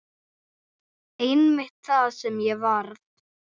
Einmitt það sem ég varð.